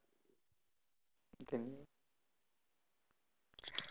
ધનય